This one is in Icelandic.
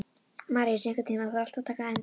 Maríus, einhvern tímann þarf allt að taka enda.